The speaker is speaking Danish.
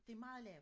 Det meget lavt